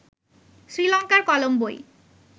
শ্রীলঙ্কার কলম্বোয়